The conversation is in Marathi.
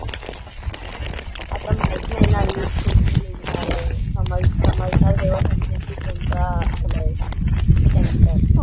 आता माहित नाही न लिस्ट कुठून निघणार आहे. समज समजणार जेव्हा समजेल ना कोणता आला आहे सेंटर.